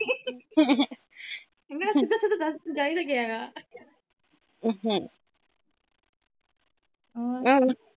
ਮੈ ਕਿਹਾ ਦਸ ਤੈਨੂੰ ਚਾਹੀਦਾ ਕੀ ਹੇਗਾ